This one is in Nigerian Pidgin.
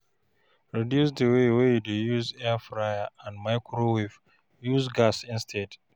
reduce di way wey yu dey use airfryer and microwave, use gas instead